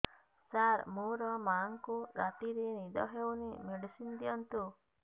ସାର ମୋର ମାଆଙ୍କୁ ରାତିରେ ନିଦ ହଉନି ମେଡିସିନ ଦିଅନ୍ତୁ